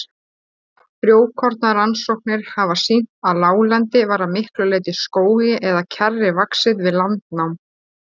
Frjókornarannsóknir hafa sýnt að láglendi var að miklu leyti skógi eða kjarri vaxið við landnám.